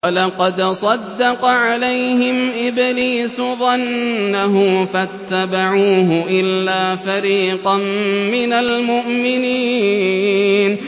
وَلَقَدْ صَدَّقَ عَلَيْهِمْ إِبْلِيسُ ظَنَّهُ فَاتَّبَعُوهُ إِلَّا فَرِيقًا مِّنَ الْمُؤْمِنِينَ